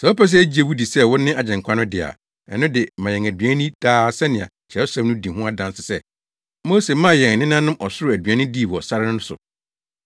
Sɛ wopɛ sɛ yegye wo di sɛ wone Agyenkwa no de a, ɛno de ma yɛn aduan nni daa sɛnea Kyerɛwsɛm no di ho adanse sɛ, Mose maa yɛn nenanom ɔsoro aduan dii wɔ sare no so.”